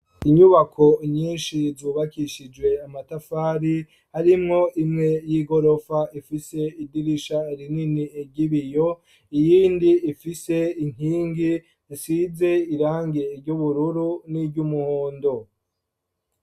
Inyubako nyinshi zubakishijwe amatafari harimwo imwe y'igorofa ifise idirisha rinini ry'ibiyo iyindi ifise inkingi isize irangi ry'ubururu n'iryumuhondo.